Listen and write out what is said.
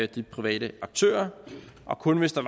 de private aktører og kun hvis der